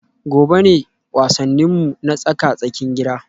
Gobe ​​ne wasanninmu na tsaka-tsakin gida